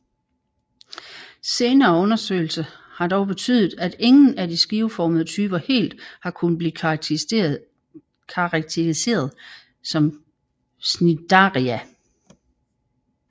Senere undersøgelser har dog betydet at ingen af de skiveformede typer helt har kunnet blive karakteriseret som cnidaria